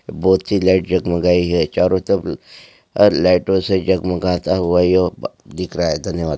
बहुत सी लाइट जगमगाई है चारो तरफ अ लाइटों से जगमगाता हुआ यह दिख रहा है धन्यवाद।